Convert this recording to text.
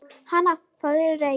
Hana, fáðu þér reyk